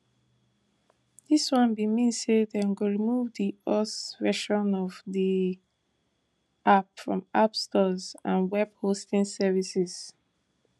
dis one bin mean say dem go remove di us version of di app from app stores and web hosting services